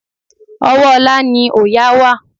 Ọwọ́ Olá ni òòyà wà.